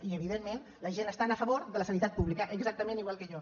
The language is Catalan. i evidentment la gent està a favor de la sanitat pública exactament igual que jo